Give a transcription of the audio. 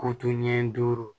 Ko to ɲɛ duuru